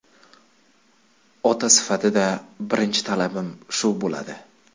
Ota sifatida birinchi talabim shu bo‘ladi.